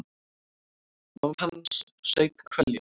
Mamma hans saup hveljur.